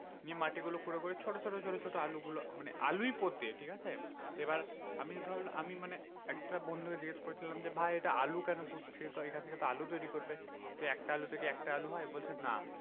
নিয়ে মাটিগুলো খুঁড়ে খুঁড়ে ছোট ছোট ছোট ছোট আলু গুলো মানে আলুই পোঁতে, ঠিকাছে এবার আমিতো ধর আমি মানে একটা বন্ধুকে জিজ্ঞাসা করেছিলাম যে, ভাই এটা আলু কেন পুতছ তো এখন থেকে আলু তৈরী করবে একটা আলু থেকে কি একটা আলু হয় বলছে না।